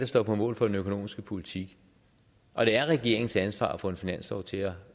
står på mål for den økonomiske politik og det er regeringens ansvar at få en finanslov til at